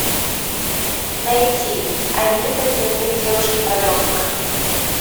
найти анита дневник девушки подростка